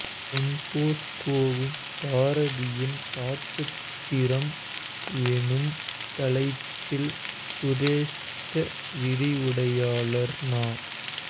டொன்பொஸ்கோவும் பாரதியின் பாட்டுத்திறம் எனும் தலைப்பில் சிரேஷ்ட விரிவுரையாளர் ந